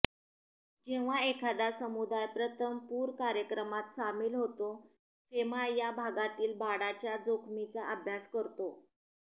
जेव्हा एखादा समुदाय प्रथम पूर कार्यक्रमात सामील होतो फेमा या भागातील बाडाच्या जोखमीचा अभ्यास करतो